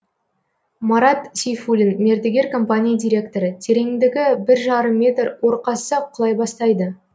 марат сейфулин мердігер компания директоры тереңдігі бір жарым метр ор қазсақ құлай бастайды